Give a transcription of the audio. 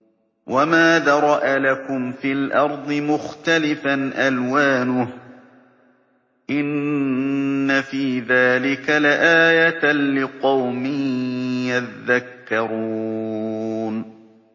وَمَا ذَرَأَ لَكُمْ فِي الْأَرْضِ مُخْتَلِفًا أَلْوَانُهُ ۗ إِنَّ فِي ذَٰلِكَ لَآيَةً لِّقَوْمٍ يَذَّكَّرُونَ